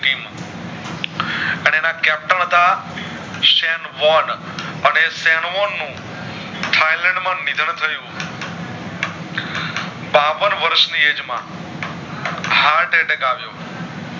હતા અને નું થયલેન્ડ માં નિદાન થયું હતું બાવન વર્ષ ની age માં Heart attack